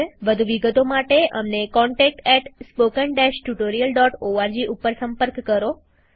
વધુ વિગતો માટે અમને contactspoken tutorialorg ઉપર સંપર્ક કરો